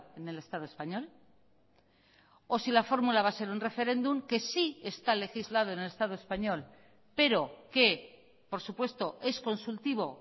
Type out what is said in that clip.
en el estado español o si la fórmula va a ser un referéndum que sí está legislado en el estado español pero que por supuesto es consultivo